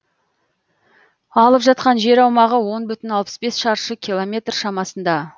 алып жатқан жер аумағы он бүтін алпыс бес шаршы километр шамасында